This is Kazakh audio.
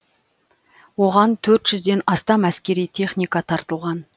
оған төрт жүзден астам әскери техника тартылған